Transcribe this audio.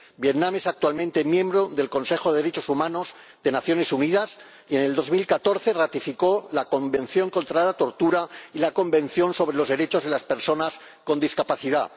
Vietnam es actualmente miembro del Consejo de Derechos Humanos de las Naciones Unidas y en 2014 ratificó la Convención contra la Tortura y la Convención sobre los Derechos de las Personas con Discapacidad.